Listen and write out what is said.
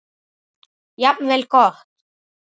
Jafnvel gott.